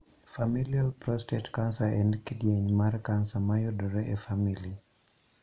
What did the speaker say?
Familial prostate cancer en kidieny mar kansa mayudore e famili.